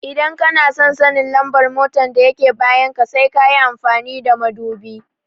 Idan kanason sanin lambar mota da yake bayan ka sai kayi amfani da madubi